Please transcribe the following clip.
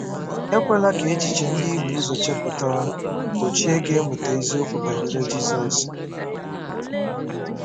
Ekwela ka echiche ndị i bu ụzọ chepụta gbochie gị ịmụta eziokwu banyere Jizọs